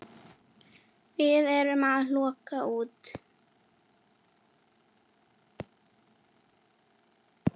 Við erum að koma út.